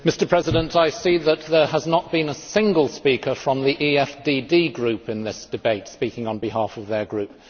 Mr President, I see that there has not been a single speaker from the EFDD Group in this debate, speaking on behalf of their Group.